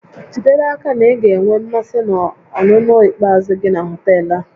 Jide n'aka na ị ga-enwe mmasị na ọnụnọ ikpeazụ gị na họtel a